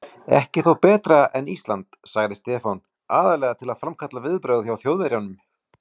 Ekki þó betra en Ísland? sagði Stefán, aðallega til að framkalla viðbrögð hjá Þjóðverjanum.